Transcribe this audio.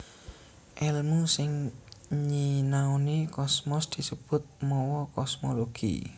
Èlmu sing nyinaoni kosmos disebut mawa kosmologi